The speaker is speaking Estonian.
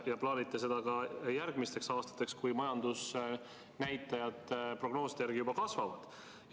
Te plaanite seda ka järgmisteks aastateks, kui majandusnäitajad prognooside järgi kasvavad.